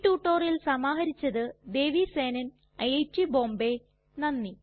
ഈ റ്റുറ്റൊരിയൽ സമാഹരിച്ചത് ദേവി സേനൻ ഐറ്റ് ബോംബേ നന്ദി